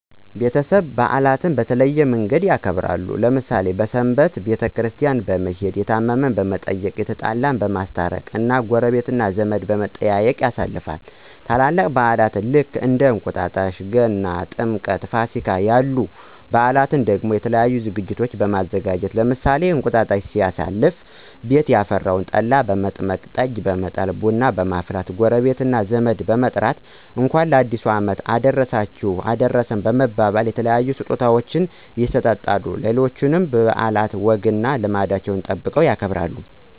ቤተሰብ በአላትን በተለያየ መንገድ ያከብራሉ። ለምሳሌ ሰንበትን ቤተክርስቲያን በመሄድ፣ የታመመን በመየቅ፣ የተጣላን በማስታረቅ እና ጎረቤት እና ዘመድ በመጠያየቅ ያሳልፋሉ። ትላልቅ በአላን ልክ እንደ እንቁጣጣሽ ገና፣ ጥምቀትእና ፋሲጋ ያሉ በአላትን ደሞ የተለያዩ ዝግጅቶችን በማዘጋጀት ለምሳሌ እንቅጣጣሽን ሲያሳልፉ ቤት ያፈራውን ጠላ በመጥመቅ፣ ጠጅ በመጣል፣ ቡና በመፍላት ጎረቤት እና ዘመድን በመጥራት እንኳን ለአዲሱ አመት አደረሳችሁ አደረሰን በመባባል የተለያዩ ስጦታወችን ይሰጣጣሉ። ሌሎችንም በአላት ወግና ልማዱን ጠብቀው ያከብራሉ።